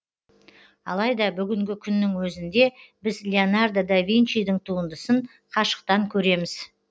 алайда бүгінгі күннің өзінде біз леонардо да винчидің туындысын қашықтан көреміз